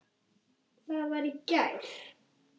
það var í gær.